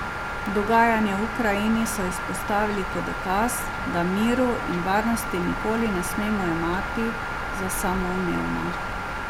Dogajanje v Ukrajini so izpostavili kot dokaz, da miru in varnosti nikoli ne smemo jemati za samoumevna.